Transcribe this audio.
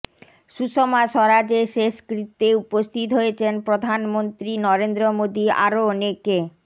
সুষমা স্বরাজের শেষকৃত্যে উপস্থিত হয়েছেন প্রধানমন্ত্রী নরেন্দ্র মোদী আরও অনেকে